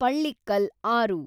ಪಳ್ಳಿಕ್ಕಲ್ ಆರು